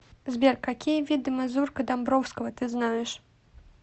сбер какие виды мазурка домбровского ты знаешь